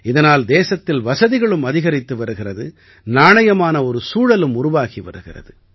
இதனால் தேசத்தில் வசதிகளும் அதிகரித்து வருகிறது நாணயமான ஒரு சூழலும் உருவாகி வருகிறது